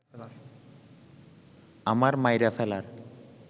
আমার মাইরা ফেলার